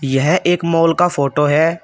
यह एक मॉल का फोटो है।